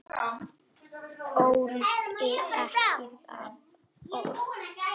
Þoldi ekki það orð.